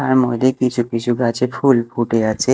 তার মদ্যে কিছু কিছু গাছে ফুল ফুটে আছে।